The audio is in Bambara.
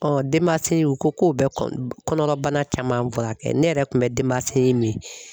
denbasinji o ko k'o bɛ kɔ kɔnɔrɔbana caman furakɛ, ne yɛrɛ kun bɛ denbasinji min